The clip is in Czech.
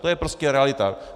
To je prostě realita.